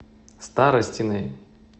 старостиной